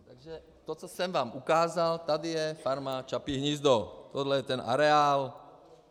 Takže to, co jsem vám ukázal -- tady je Farma Čapí hnízdo, tohle je ten areál.